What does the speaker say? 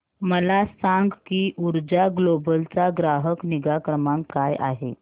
मला सांग की ऊर्जा ग्लोबल चा ग्राहक निगा क्रमांक काय आहे